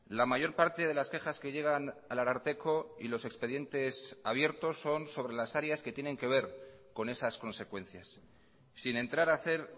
la mayor parte de las quejas que llegan al ararteko y los expedientes abiertos son sobre las áreas que tienen que ver con esas consecuencias sin entrar a hacer